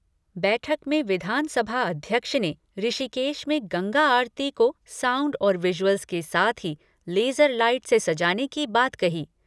बैठक में विधानसभा अध्यक्ष ने ऋषिकेश में गंगा आरती को साउंड और विजुअल्स के साथ ही लेजर लाइट से सजाने की बात कही।